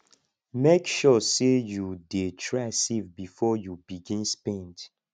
mek sure sey yu dey try save bifor yu begin spend